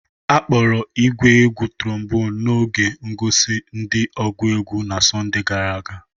Akpọro igwé égwù tromboni n'oge ngosi di ogú egwu na Sọnde gara aga.